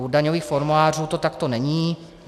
U daňových formulářů to takto není.